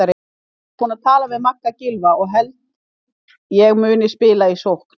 Ég er búinn að tala við Magga Gylfa og held ég muni spila í sókn.